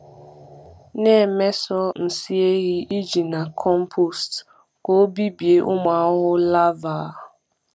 Na-emeso nsị ehi eji na compost ka ọ bibie ụmụ ahụhụ larvae.